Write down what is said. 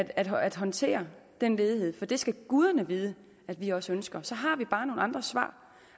at håndtere den ledighed for det skal guderne vide at vi også ønsker så har vi bare nogle andre svar